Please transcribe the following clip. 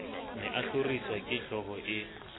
ne a hloriswa kehlooho e